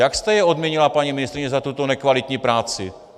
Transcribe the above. Jak jste je odměnila, paní ministryně, za tuto nekvalitní práci?